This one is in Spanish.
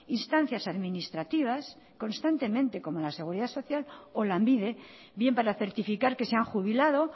instancias administrativas constantemente como la seguridad social o lanbide bien para certificar que se han jubilado